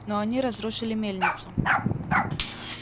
но они разрушили мельницу